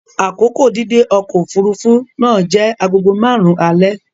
Akoko dídé ọkọ̀ òfuurufú náà jẹ́ agogo márùn-ún alẹ́.